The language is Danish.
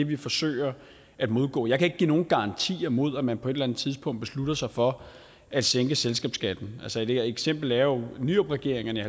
vi forsøger at modgå jeg kan ikke give nogen garantier mod at man på et eller andet tidspunkt beslutter sig for at sænke selskabsskatten et eksempel er jo at nyrupregeringerne i